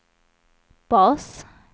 bas